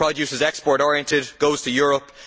Its produce is export oriented and goes to Europe.